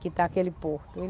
que está aquele porto.